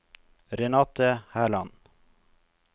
Renate Herland